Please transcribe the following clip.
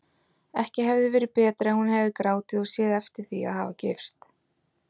Ekki hefði verið betra ef hún hefði grátið og séð eftir því að hafa gifst.